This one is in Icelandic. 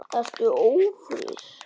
Ertu ófrísk?